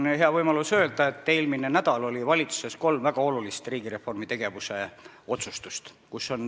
Mul on hea võimalus öelda, et eelmine nädal oli valitsuses arutelul kolm väga olulist otsustust riigireformi tegevuste kohta.